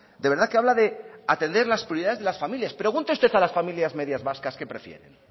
de verdad que habla de atender las prioridades de las familias pregunte usted a las familias medias vascas qué prefieren